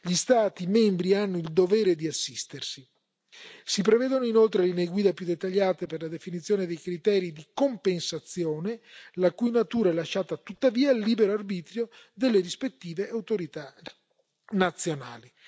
Gli Stati membri hanno il dovere di assistersi. Si prevedono inoltre linee guida più dettagliate per la definizione dei criteri di compensazione, la cui natura è lasciata tuttavia al libero arbitrio delle rispettive autorità nazionali.